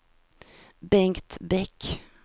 Bengt Bäck